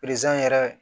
yɛrɛ